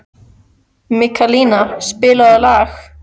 Mikaelína, spilaðu lag.